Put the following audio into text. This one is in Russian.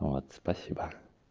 вот спасибо